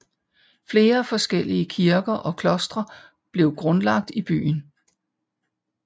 Flere forskellige kirker og klostre blev grundlagt i byen